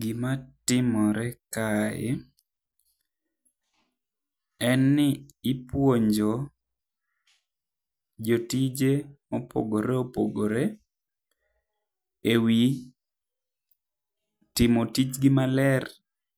Gima timore kae, enni ipuonjo jotije mopogoreopogore ewi timo tijgi maler